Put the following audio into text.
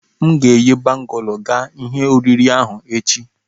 M ga-eyi bangụlu ga ihe oriri ahụ echi.